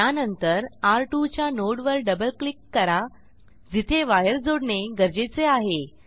त्या नंतर र2 च्या नोड वर डबल क्लिक करा जिथे वायर जोडणे गरजेचे आहे